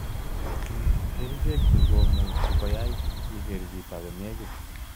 Ing kerichek chu, much ko ai iker chito konek.